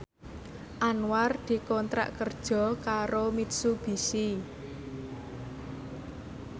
Anwar dikontrak kerja karo Mitsubishi